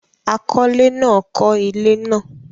àkọlé náà kọ́ ilé náà